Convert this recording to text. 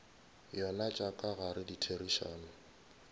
yona tša ka gare ditherišano